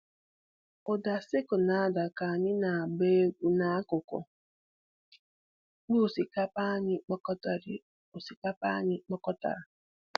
Ụda sickle na-ada ka anyị na-agba egwu n'akụkụ ikpo osikapa anyị kpokọtara. osikapa anyị kpokọtara.